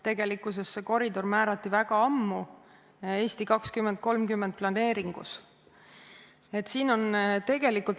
Tegelikkuses see koridor määrati ära väga ammu "Eesti 2030" planeeringus.